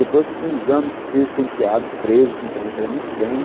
Depois, com uns anos, viu os penteados presos, que ele fazia muito bem.